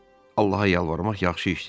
Allaha yalvarmaq yaxşı işdir dedi.